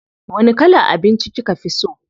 Wani kalan abinci kika fi so?